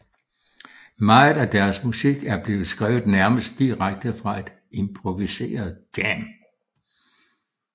Meget af deres musik er blevet skrevet nærmest direkte fra et improviseret jam